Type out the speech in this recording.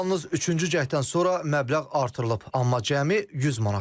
Yalnız üçüncü cəhddən sonra məbləğ artırılıb, amma cəmi 100 manat.